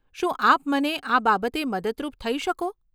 શું આપ મને આ બાબતે મદદરૂપ થઇ શકો?